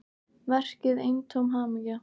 Verkið eintóm hamingja